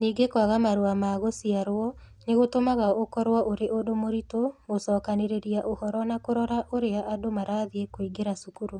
Ningĩ kwaga marũa ma gũciarũo nĩ gũtũmaga ũkorũo ũrĩ ũndũ mũritũ gũcokanĩrĩria ũhoro na kũrora ũrĩa andũ marathiĩ kũingĩra cukuru.